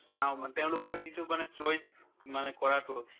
চাও মানে তেওঁলোকৰ যিটো মানে choice মানে কৰাতো